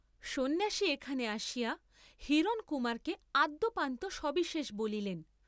সন্ন্যাসী এখানে আসিয়া হিরণকুমারকে আদ্যোপান্ত সবিশেষ বলিলেন।